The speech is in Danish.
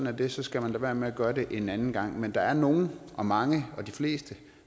er det så skal man lade være med at gøre det en anden gang men der er nogle og mange og de fleste